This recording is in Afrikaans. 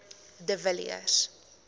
de villiers